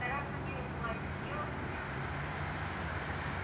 стараться миром уладить дело с янки